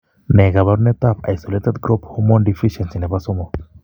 Ne kaabarunetap Isolated growth hormone deficiency ne po 3?